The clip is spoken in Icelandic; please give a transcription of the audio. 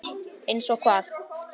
Eins og hvað?